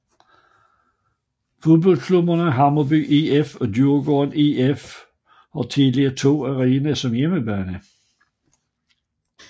Fodboldklubberne Hammarby IF og Djurgårdens IF har Tele2 Arena som hjemmebane